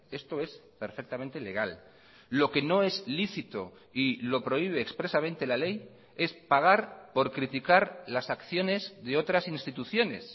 esto es perfectamente legal lo que no es lícito y lo prohíbe expresamente la ley es pagar por criticar las acciones de otras instituciones